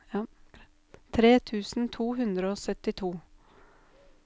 tre tusen tre hundre og syttito